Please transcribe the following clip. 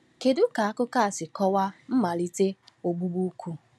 Kedu ka akụkọ a si kọwa mmalite ogbugbu ukwu?